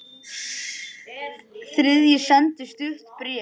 Þriðji sendi stutt bréf